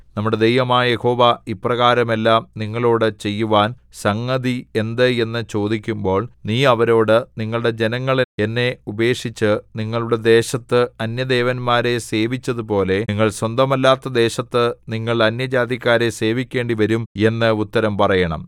നമ്മുടെ ദൈവമായ യഹോവ ഇപ്രകാരമെല്ലാം നമ്മളോടു ചെയ്യുവാൻ സംഗതി എന്ത് എന്നു ചോദിക്കുമ്പോൾ നീ അവരോട് നിങ്ങളുടെ ജനങ്ങള്‍ എന്നെ ഉപേക്ഷിച്ച് നിങ്ങളുടെ ദേശത്ത് അന്യദേവന്മാരെ സേവിച്ചതുപോലെ നിങ്ങൾ സ്വന്തമല്ലാത്ത ദേശത്ത് നിങ്ങൾ അന്യജാതിക്കാരെ സേവിക്കേണ്ടിവരും എന്ന് ഉത്തരം പറയണം